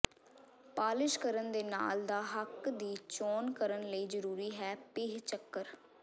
polish ਕਰਨ ਦੇ ਨਾਲ ਦਾ ਹੱਕ ਦੀ ਚੋਣ ਕਰਨ ਲਈ ਜ਼ਰੂਰੀ ਹੈ ਪੀਹ ਚੱਕਰ